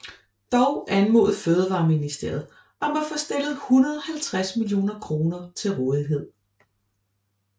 Dog anmodede Fødevareministeriet om at få stillet 150 millioner kroner til rådighed